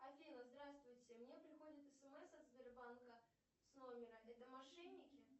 офина здравствуйте мне приходит смс от сбербанка с номера это мошенники